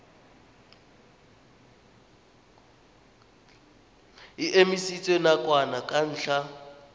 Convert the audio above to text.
e emisitswe nakwana ka ntlha